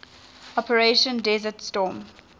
operation desert storm